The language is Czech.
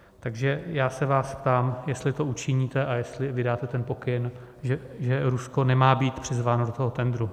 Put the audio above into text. Takže já se vás ptám, jestli to učiníte a jestli vydáte ten pokyn, že Rusko nemá být přizváno do toho tendru.